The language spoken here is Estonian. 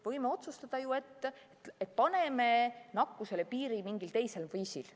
Võime otsustada ju, et paneme nakkusele piiri mingil teisel viisil.